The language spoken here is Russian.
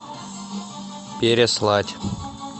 переслать